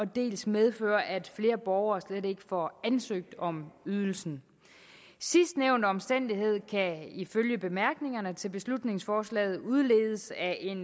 dels medfører at flere borgere slet ikke får ansøgt om ydelsen sidstnævnte omstændighed kan ifølge bemærkningerne til beslutningsforslaget udledes af en